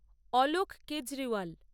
Alok Kejriwal